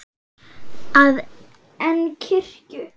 að en kirkju.